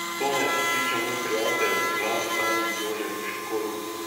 V to me je prepričal moj prijatelj, glavni tajnik Jožef Školč.